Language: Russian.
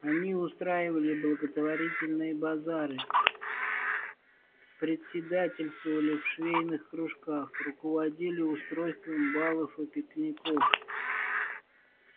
они устраивали благотворительные базары председательствовали в швейных кружках руководили устройством балов и пикников